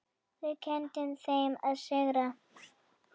Þau kenndu þeim að sigra.